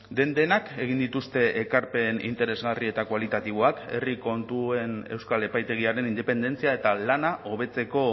den denak egin dituzte ekarpen interesgarri eta kualitatiboak herri kontuen euskal epaitegiaren independentzia eta lana hobetzeko